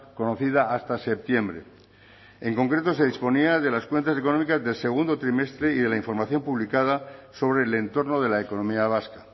conocida hasta septiembre en concreto se disponía de las cuentas económicas del segundo trimestre y de la información publicada sobre el entorno de la economía vasca